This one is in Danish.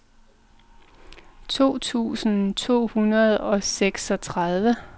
to tusind to hundrede og seksogtredive